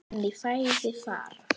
En í fæði fara